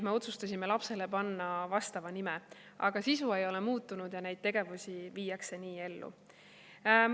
Me otsustasime lapsele panna vastava nime, aga sisu ei ole muutunud ja neid tegevusi viiakse nii ellu.